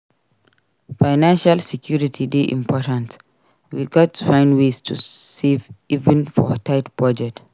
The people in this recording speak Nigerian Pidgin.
Financial security dey important; we gats find ways to save even for tight budget.